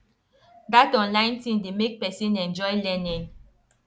that online thing dey make person enjoy learning